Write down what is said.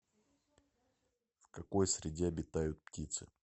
в какой среде обитают птицы